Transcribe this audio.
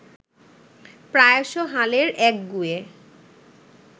প্রায়শ হালের একগুঁয়ে